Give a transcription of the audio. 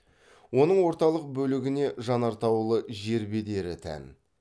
оның орталық бөлігіне жанартаулы жер бедері тән